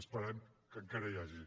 esperem que encara n’hi hagi